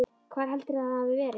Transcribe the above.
Hvar heldurðu að það hafi verið?